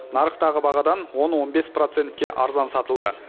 нарықтағы бағадан он он бес процентке арзан сатылды